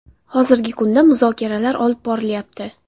Hozirgi kunda muzokaralar olib borilyapti.